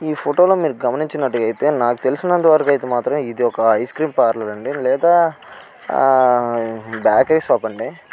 ఈ ఫోటో లో మీరు గమనించునట్టుగా అయితే నాకు తెలిసినంతవరకు అయితే మాత్రం ఇది ఒక ఐస్ క్రీమ్ పార్లర్ అండి. లేదా ఆ బేకరీ షాప్ అండి.